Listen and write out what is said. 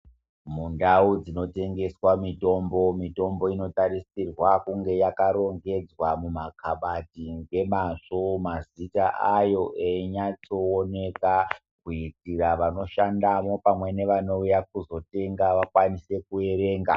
Mundau dzino tengeswa mitombo, mitombo ino tasirirwa kunge yaka rongedzwa mumakabati ngemazvo, mazita ayo eyinya tsooneka kuitira vano shandamwo pamwe nevanouya kuzotenga vakwanise kuerenga.